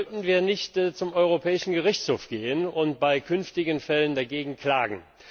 Sollten wir nicht zum Europäischen Gerichtshof gehen und bei künftigen Fällen dagegen klagen?